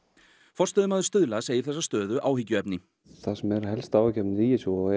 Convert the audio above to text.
forstöðumaður Stuðla segir þessa stöðu áhyggjuefni það sem er helsta áhyggjuefnið í þessu og